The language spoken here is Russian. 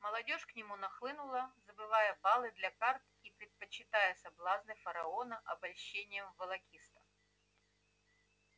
молодёжь к нему нахлынула забывая баллы для карт и предпочитая соблазны фараона обольщениям волокитства